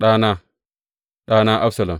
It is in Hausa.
Ɗana, ɗana Absalom!